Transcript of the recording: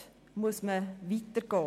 Dort muss man weitergehen.